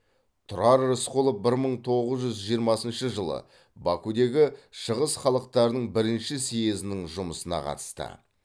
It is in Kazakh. тұрар рысқұлов бір мың тоғыз жүз жиырмасыншы жылы бакудегі шығыс халықтарының бірінші съезінің жұмысына қатысты